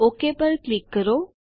okay પર click કરો